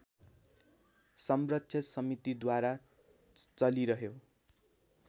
संरक्षक समितिद्वारा चलिरह्यो